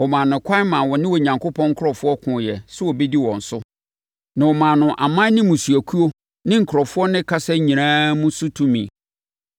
Wɔmaa no ɛkwan ma ɔne Onyankopɔn nkurɔfoɔ koeɛ sɛ ɔbɛdi wɔn so. Na wɔmaa no aman ne mmusuakuo ne nkurɔfoɔ ne kasa nyinaa mu so tumi.